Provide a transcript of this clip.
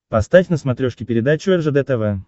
поставь на смотрешке передачу ржд тв